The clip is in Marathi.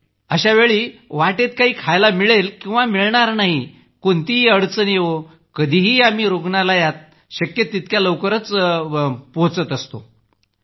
अशा वेळी मग वाटेत काही खायला मिळेल किंवा नाही मिळेल कोणतीही अडचण येवो तरीही आम्ही रूग्णालयात शक्य तितक्या लवकर पोहोचतोच